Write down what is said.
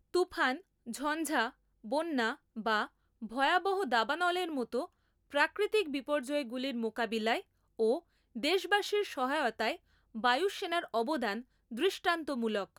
তুফান, ঝঞ্ঝা, বন্যা বা ভয়াবহ দাবানলের মত প্রাকৃতিক বিপর্যয়গুলির মোকাবিলায় ও দেশবাসীর সহায়তায় বায়ুসেনার অবদান দৃষ্টান্তমূলক।